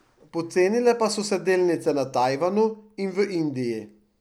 Pocenile pa so se delnice na Tajvanu in v Indiji.